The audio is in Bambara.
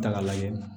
Ta k'a lajɛ